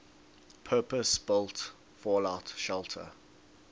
purpose built fallout shelter